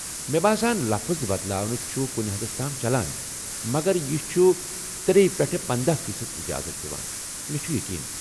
مےٚ باسان لفظ بدلاوٕنہِ چُھ کُنہِ حدس تام چلان، مگر یہِ چُھ یہِ ترٛیہِ پٮ۪ٹھٕ پندَہ فی صد اجازت دِوان ، مےٚ چُھ یقیٖن